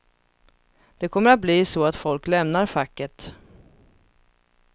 Det kommer att bli så att folk lämnar facket.